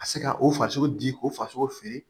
Ka se ka o farisogo di ko farisogo fili